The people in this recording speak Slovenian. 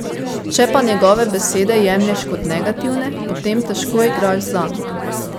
Če pa njegove besede jemlješ kot negativne, potem težko igraš zanj.